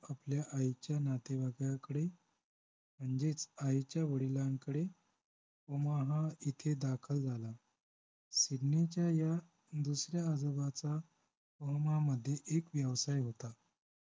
आपल्या आईच्या नातेवाईकाकडे म्हणजेच आईच्या वडिलांकडे ओमाहा येथे दाखल झाला सिडनीच्या या दुसऱ्या आजोबाचा ओमाहामध्ये एक व्यवसाय होता